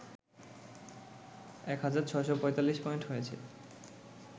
এক হাজার৬৪৫ পয়েন্ট হয়েছে